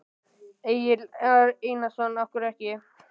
Egill Einarsson: Af hverju ekki?